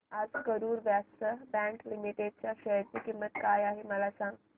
आज Karur Vysya bank limited च्या share ची किंमत काय आहे मला सांगा